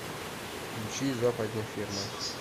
включи западня ферма